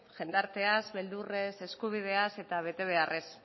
jendarteaz beldurrez eskubideaz eta betebeharrez